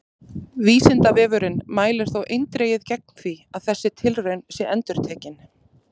Vísindavefurinn mælir þó eindregið gegn því að þessi tilraun sé endurtekin!